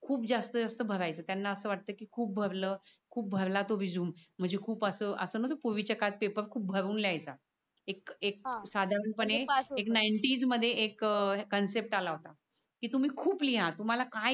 खूप जास्त जास्त भरायच त्याना अस वाटत कि खूप भरल खूप भरला तो रेझूमे म्हणजे खूप अस अस म्हणजे पूर्वी च्या काळात कस पेपर खूप भरून लिहायचा एक एक साधारण पने नाईंटीस मध्ये एक कन्सेप्ट आला होता. कि तुम्ही खूप लिहा तुम्हाला काय